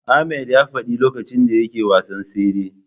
Ahmad ya faɗi lokacin da yake wasan tsere.